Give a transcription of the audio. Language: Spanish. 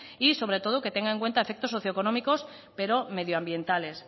y sobre todo que tenga en cuenta efectos socioeconómicos pero medioambientales